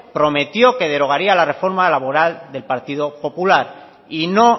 prometió que derogaría la reforma laboral del partido popular y no